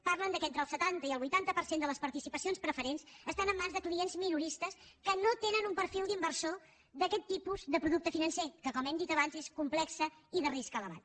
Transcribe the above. diuen que entre el setanta i el vuitanta per cent de les participacions preferents estan en mans de clients minoristes que no tenen un perfil d’inversor d’aquest tipus de producte financer que com hem dit abans és complex i de risc elevat